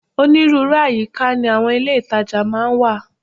Onírúurú àyíká ni àwọn ilé ìtajà máa ń wà